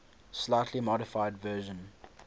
slightly modified version